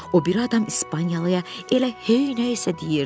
O biri adam İspaniyalıya elə heynəyisə deyirdi.